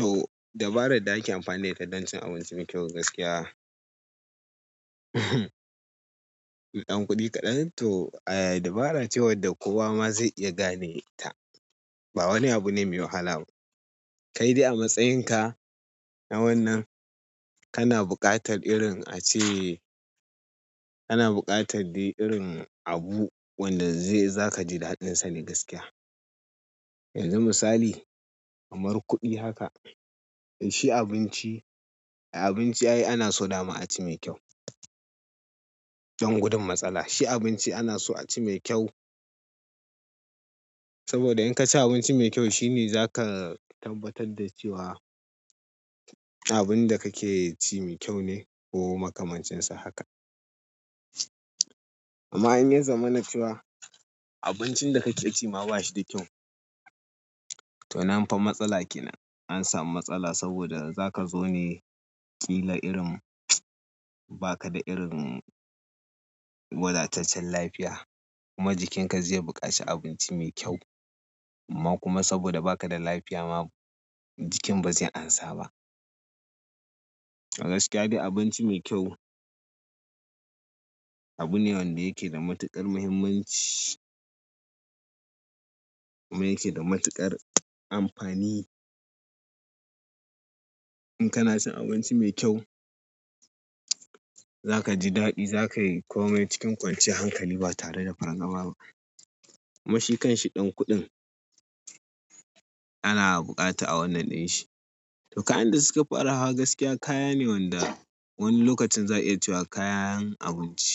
To, dabarar da ake amfani da ita don cin abinci mai kyau gaskiya. Ɗan kuɗi kaɗan to, eh dabara ce wadda kowa ma zai iya gane ta. Ba wani abu ne mai wahala ba. Kai dai a matsayin ka, na wannan, kana buƙatar irin a ce, kana buƙatar dai irin abu wanda zai-- za ka ji daɗinsa ne gaskiya. Yanzu misali, kamar kuɗi haka, shi abinci, abinci ai ana so dama a ci mai kyau. Don gudun matsala. Shi abinci ana so a ci mai kyau, saboda in ka ci abinci mai kyau shine za ka tabbatar da cewa, abinda kake ci mai kyau ne ko makamancinsa haka. Amma in ya zamana cewa, abincin da kake ci ma ba shi da kyau, to nan fa matsala kenan. An samu matsala saboda za ka zo ne ƙila irin, ba ka da irin wadataccen lafiya. Kuma jikinka zai buƙaci abinci mai kyau. Amma kuma saboda ba ka da lafiya ma, jikin ba zai amsa ba. A gaskiya dai abinci mai kyau, abu ne wanda yake da matuƙar muhimmanci. Kuma yake da matuƙar amfani. In kana cin abinci mai kyau, za ka ji daɗi, za ka yi komai cikin kwanciyar hankali ba tare da fargaba ba. Kuma shi kanshi ɗan kuɗin, ana buƙata a wannan ɗin shi. Toh kayan da suka fara hawa gaskiya, kaya ne wanda wani lokacin za'a iya cewa kayan abinci.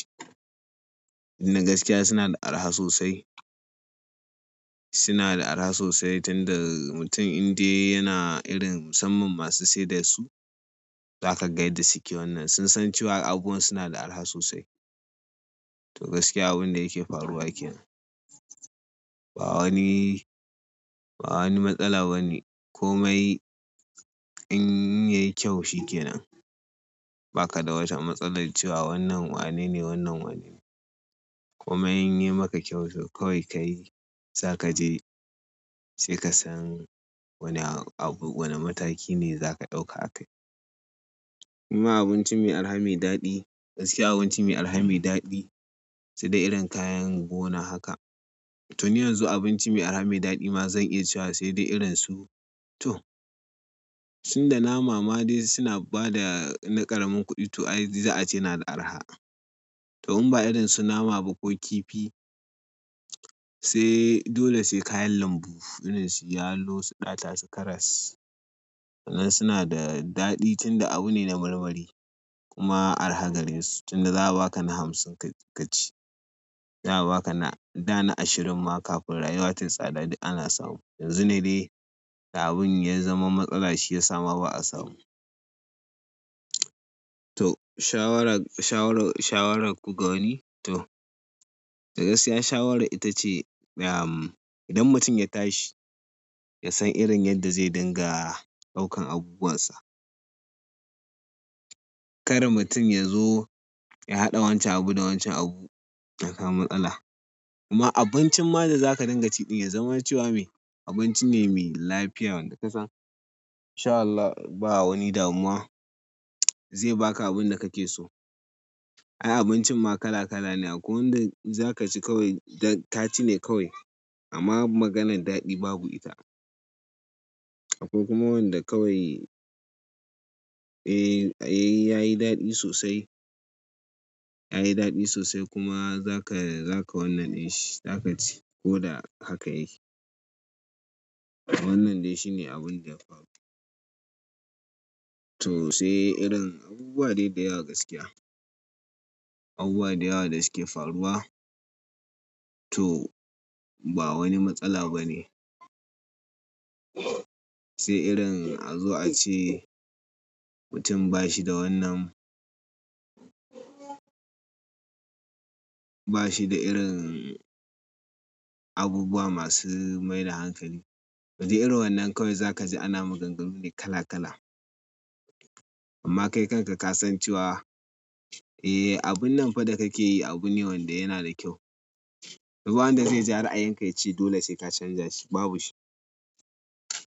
Tunda gaskiya suna da arha sosai. Suna da araha sosai tunda mutum indai yana irin musamman masu siyar da su, za ka ga yadda suke wannan. Sun san cewa abubuwan suna da araha sosai. To gaskiya abunda yake faruwa kenan. Ba wani, ba wani matsala bane. Komai in yayi kyau shikenan. Baka da wata matsalar cewa wannan wanene, wannan wane. Komai in yayi maka kyau to kawai kayi, za ka je sai ka san wane abu, wane mataki ne za ka ɗauka a kai. Kuma abinci mai araha mai daɗi, gaskiya abinci mai araha mai daɗi, sai dai irin kayan gona haka. To ni yanzu abinci mai araha mai daɗi ma zan iya cewa sai dai irin su to, tunda nama ma dai suna ba da na ƙaramin kuɗi to ai za a ce yana da araha. To in ba irin su nama ba ko kifi, sai dole sai kayan lambu. Irin su yalo, su ɗata, su karas. Wannan suna da daɗi tun da abu ne na marmari. Kuma araha gare su tun da za a ba ka na hamsin kaci. Za a ba ka na da na ashirin ma kafin rayuwar tayi tsada duk ana samu. Yanzu ne dai da abun ya zama matsala shi yasa ma ba'a samu. To shawarar, shawarar, shawarar ku ga wani? To da gaskiya shawara ita ce, idan mutum ya tashi, ya san irin yadda zai dinga ɗaukan abubuwan sa. Kar mutum ya zo ya haɗa wancan abu da wancan abu, ya kawo matsala. Kuma abincin ma da za ka dinga ci ɗin ya zama cewa mai, abinci ne mai lafiya wanda ka san. In sha Allah ba wani damuwa, zai baka abin da kake so. Ai abinci ma kala kala ne akwai wanda za ka ci kawai da ka ci ne kawai. Amma maganar daɗi babu ita. Akwai kuma wanda kawai, eh yayi daɗi sosai. Yayi daɗi sosai kuma za ka, za ka wannan ɗin shi, za ka ci. Ko da haka yake. Wannan dai shine abunda ya faru. To sai irin abubuwa dai da yawa gaskiya. Abubuwa da yawa da suke faruwa. To ba wani matsala ba ne. Sai irin a zo a ce, mutum ba shi da wannan, ba shi da irin abubuwa masu mai da hankali. Kaji irin wannan kawai za ka ji ana maganganu ne kala kala. Amma kai kanka ka san cewa, eh abun nan fa da kake yi abu ne wanda yana da kyau. Ba wanda zai ja ra'ayinka yace dole sai ka canza shi, babu shi.